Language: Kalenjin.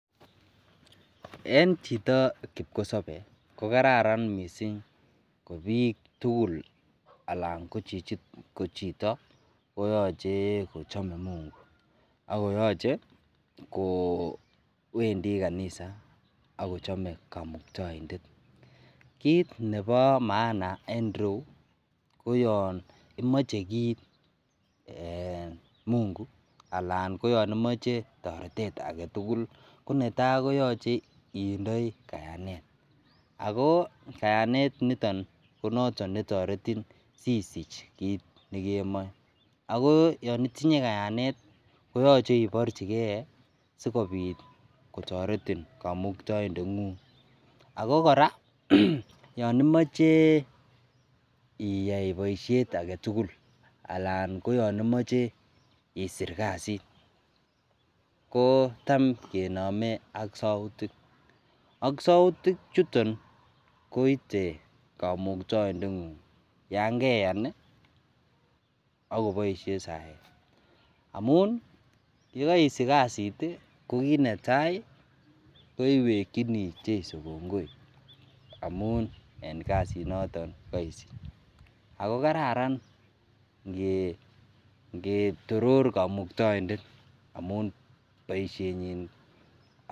En Chito kipkosabe ko kararan mising KO bik tukul ko Chito koyoche kochome Mungu akoyoche kowendit kanisa ako chome kamuktoindet kit Nebo maana en rou KO yon imoche kit em Mungu Alan koyon imoche toretet agetugul netai koyoche indoi kayanet ako kayanet niton netoretin asisich kit nekemoche ago yon itinye kayanet koyoche inyorchigei skgobit kotoretin kamuktoindet ako kora yon imoche iyai boishet agetugul Alan koyon imoche isir kasit ko Tom kenome ak soutik ako soutik chuton koite kamuktoindet ngung Yan ngeyan akoboishe sayetamun yogoisich kasit ko kit netai ko iwekini cheso kongoi en kasit noton nekesich ako kararan ngetoror kamuktoindet amun boishenyin